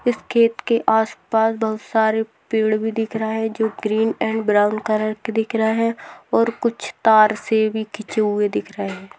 इस खेत के आसपास बहुत सारे पेड़ भी दिख रहा है जो ग्रीन अँड ब्राउन कलर का दिख रहा है और कुछ तार सेभी खिचे हुए दिख रहे है।